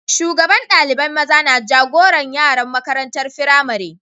Shugaban dalibain maza na jagoran yaran makarantan firamari.